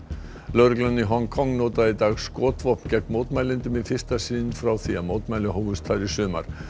lögreglan í Hong Kong notaði í dag skotvopn gegn mótmælendum í fyrsta sinn frá því mótmæli hófust þar í sumar